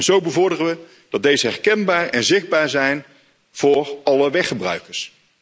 Zo bevorderen we dat deze herkenbaar en zichtbaar zijn voor alle weggebruikers.